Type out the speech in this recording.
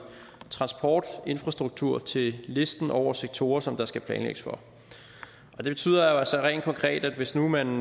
transportinfrastruktur til listen over sektorer som der skal planlægges for det betyder jo altså rent konkret at hvis nu man